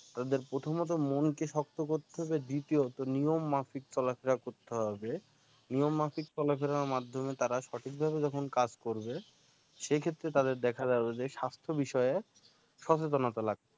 তাদের প্রথমে তো মন কে শক্ত করতে হবে দ্বিতীয় নিয়ম মাফিক চলা ফিরা করতে হবে নিয়ম মাফিক চলা ফিরার মাধ্যমে তারা সঠিক ভাবে যখন কাজ করবে সেই ক্ষেত্রে তাদের দেখা যাবে যে স্বাস্থ্য বিষয়ক সচেতনতা লাগবে